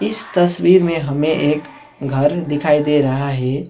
इस तस्वीर में हमें एक घर दिखाई दे रहा है।